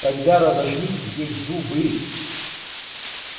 тогда разожмите ей зубы